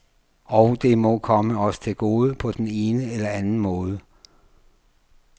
Og det må komme os til gode på den ene eller anden måde.